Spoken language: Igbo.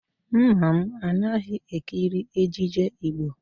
Nna m anaghị ekiri ejije Igbo